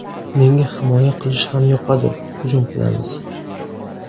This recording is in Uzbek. Menga himoya qilish ham yoqadi, hujum qilamiz.